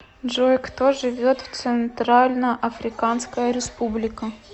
джой кто живет в центральноафриканская республика